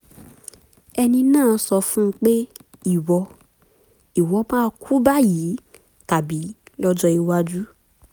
ẹni náà sọ fún un pé ìwọ ìwọ máa kú báyìí tàbí lọ́jọ́ iwájú